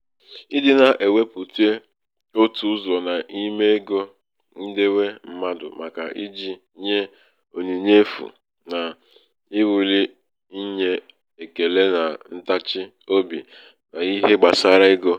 ɪ̣dị̄ nā-èwepùte otù ụzọ̀ n’ime ego ndewe mmadụ̀ màkà ijì nye ònyìnye efù nà-èwuli inyē èkele nà ntachi obì n’ihe gbàsara egō.